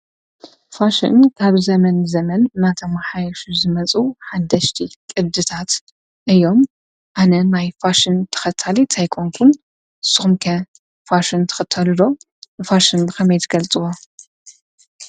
ፋሽን ካብ ዘመን ዘመን ማታማሓይሽሽ ዝመጹ ሓደሽቲ ቕድታት እዮም ኣነ ማይ ፋሽን ተኸታል ኣይኮንኩን ሶምከ ፋሽን ተኸታሉዶ ብፋሽን ኸመይትገልጥዋ።